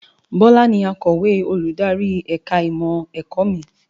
Bọlá ni akọ̀wé olùdarí ẹ̀ka ìmọ̀ ẹ̀kọ́ mi